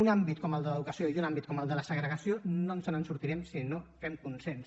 un àmbit com el de l’educació i un àmbit com el de la segregació no ens en sortirem si no fem consens